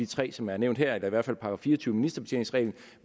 tre som er nævnt her eller i hvert fald § fire og tyve om ministerbetjening